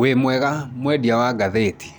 Wĩmwega mwendia wa ngathĩti?